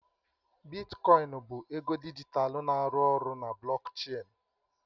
Bitkoin bụ ego dijitalụ na-arụ ọrụ na blockchain.